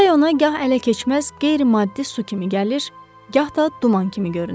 Çay ona gah ələ keçməz qeyri-maddi su kimi gəlir, gah da duman kimi görünür.